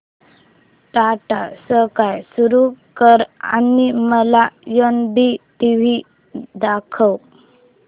Tata Sky सुरू कर आणि मला एनडीटीव्ही दाखव